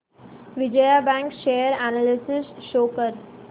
Vijaya bank share analysis show कर